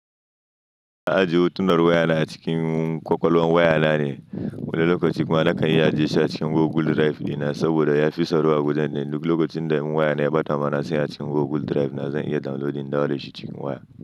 Ajiye hotunan waya na a cikin kwakwalwan waya na ne, wani lokacin kuma nakan iya ajiye shi a cikin Google Drive dina saboda ya fi tsaro a wajen ɗin. Duk lokacin da in waya na ɓata ma na san a cikin Google Drive na zan iya downloading in dawo dashi shi cikin waya.